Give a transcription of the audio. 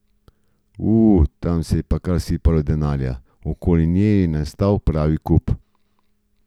U, tam se je kar sipalo denarja, okoli nje je nastal pravi kup.